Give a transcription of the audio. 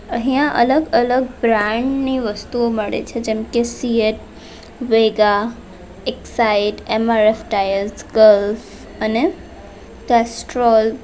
અહીંયા અલગ-અલગ બ્રાન્ડ ની વસ્તુઓ મળે છે જેમ કે CEAT Vega Exide MRF tyres Gulf અને કેસ્ટ્રોલ .